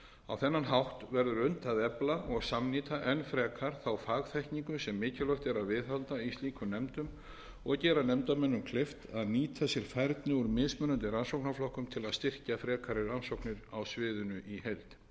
á þennan hátt verður unnt að efla og samnýta enn frekar þá fagþekkingu sem mikilvægt er að viðhalda í slíkum nefndum og gera nefndarmönnum kleift að nýta sér færni úr mismunandi rannsóknarflokkum til að styrkja frekari rannsóknir á sviðinu í heild